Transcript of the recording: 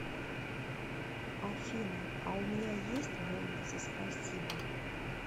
афина а у меня есть бонусы спасибо